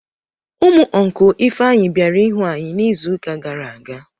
Ụmụ ọncụl Ifeanyị bịara ịhụ anyị n'izuụka gara aga.